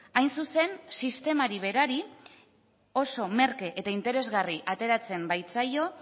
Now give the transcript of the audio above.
hain zuzen sistemari berari oso merke eta interesgarri ateratzen baitzaio